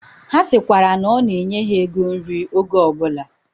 Ha sikwara na ona enye ha ego nri oge obula